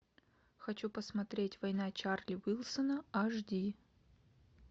хочу посмотреть война чарли уилсона аш ди